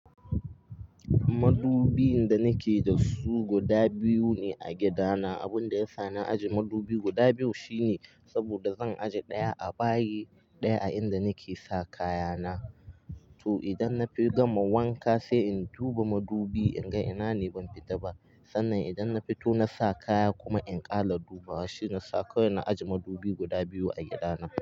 Madubi da ni ke da su guda biyu ne a gida na. Abun da ya sa na ajiye madubi guda biyu shine saboda zan ajiye ɗaya a bayi, ɗaya a inda ni ke sa kaya na. To idan na fi gama wanka sai in duba madubi in ga ina ne ban fita ba. Sannan idan na fito na sa kaya kuma in ƙala duba. Shi ya sa kawai na ajiye madubi guda biyu a gida na.